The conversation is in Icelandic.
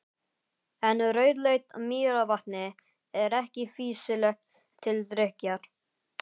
En rauðleitt mýrarvatnið er ekki fýsilegt til drykkjar.